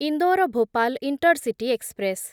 Indore Bhopal intercity express